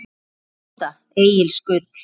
Rúta Egils Gull